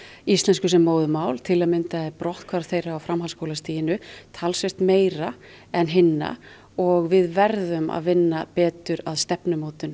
íslensku sem móðurmál til að mynda er brotthvarf þeirra á framhaldsskólastiginu talsvert meira en hinna og við verðum að vinna betur að stefnumótun